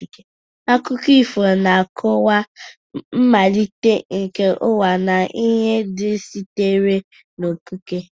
Akụkọ ifo na-akọwa mmalite nke ụwa na ihe ndị sitere n'okike.